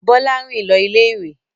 Bọ́lá rìn lọ ilé-ìwé.